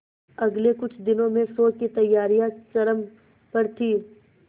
अगले कुछ दिनों में शो की तैयारियां चरम पर थी